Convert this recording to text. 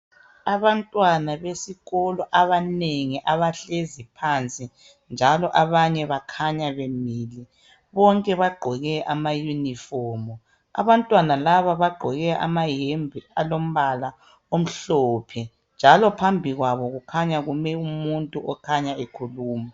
abantwana besikolo abanengi abahlezi phansi njalo abanye bakhanya bemile bonke bagqoke ama uniform abantwana laba bagqoke amayembe alombala omhlophe njalo phambi kwabo kukhanya kume umuntu okhanya ekhuluma